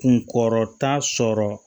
Kunkɔrɔta sɔrɔ